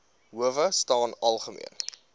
howe staan algemeen